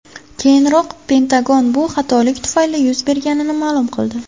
Keyinroq Pentagon bu xatolik tufayli yuz berganini ma’lum qildi.